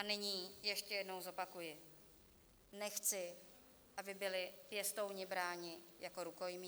A nyní ještě jednou zopakuji: nechci, aby byli pěstouni bráni jako rukojmí.